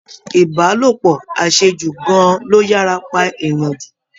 Ìbálòpọ̀ àṣejù gan-an ló yára pa èèyàn jù